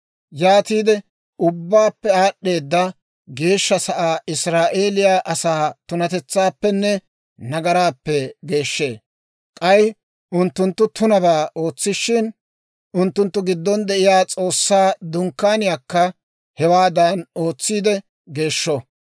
Yaatiide Ubbaappe Aad'd'eeda Geeshsha Sa'aa Israa'eeliyaa asaa tunatetsaappenne nagaraappe geeshshee. K'ay unttunttu tunabaa ootsishin, unttunttu giddon de'iyaa S'oossaa Dunkkaaniyaakka hewaadan ootsiide geeshsho.